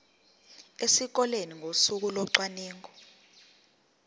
esikoleni ngosuku locwaningo